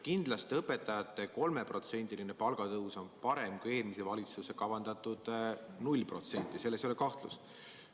Kindlasti on õpetajate palga 3%-line tõus parem kui eelmise valitsuse kavandatud 0%, selles ei ole kahtlust.